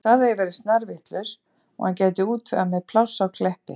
Hann sagði að ég væri snarvitlaus og hann gæti útvegað mér pláss á Kleppi.